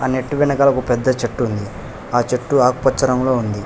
ఆ నెట్ వెనకాల ఒక పెద్ద చెట్టు ఉంది ఆ చెట్టు ఆకుపచ్చ రంగులో ఉంది.